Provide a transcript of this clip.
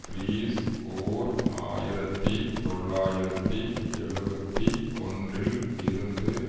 பீரிஸ் ஓர் ஆயிரத்தி தொள்ளாயிரத்தி எழுபத்தி ஒன்றில் இருந்து